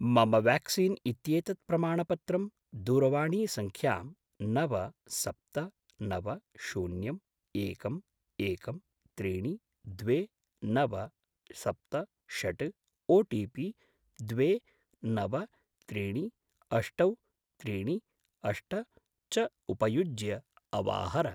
मम व्याक्सीन् इत्येतत् प्रमाणपत्रं दूरवाणीसङ्ख्यां नव सप्त नव शून्यं एकम् एकं त्रीणि द्वे नव सप्त षट् ओटिपि द्वे नव त्रीणि अष्टौ त्रीणि अष्ट च उपयुज्य अवाहर।